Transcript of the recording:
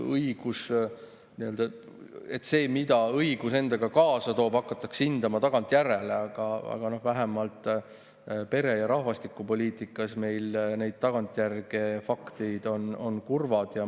Seda, mida õigus endaga kaasa toob, hakatakse hindama tagantjärele, aga vähemalt pere- ja rahvastikupoliitikas on meil need tagantjärele faktid kurvad.